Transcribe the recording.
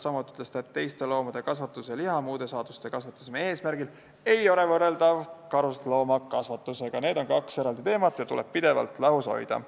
Samuti ütles ta, et teiste loomade kasvatus liha- ja muude saaduste saamise eesmärgil ei ole võrreldav karusloomakasvatusega, need on kaks eraldi teemat ja tuleb pidevalt lahus hoida.